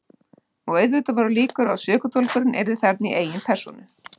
Og auðvitað voru líkur á að sökudólgurinn yrði þarna í eigin persónu.